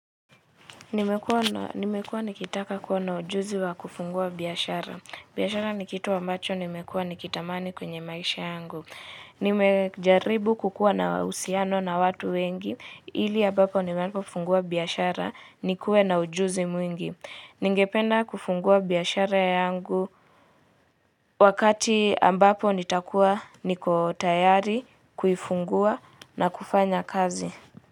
Nimekuwa nikitaka kuwa na ujuzi wa kufungua biashara biashara ni kitu ambacho nimekuwa nikitamani kwenye maisha yangu. Nimejaribu kukua na uhusiano na watu wengi. Ili ambapo ninapofungua biashara nikuwe na ujuzi mwingi. Ningependa kufungua biashara yangu wakati ambapo nitakuwa niko tayari kuifungua na kufanya kazi.